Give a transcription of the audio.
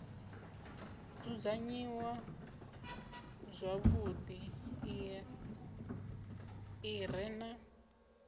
dzudzanyiwaho zwavhuḓi i re na